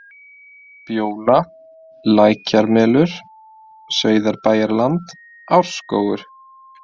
Bjóla, Lækjarmelur, Saurbæjarland, Árskógur